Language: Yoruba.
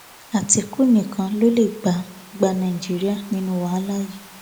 àtìkù nìkan ló lè gba gba nàìjíríà nínú wàhálà yìí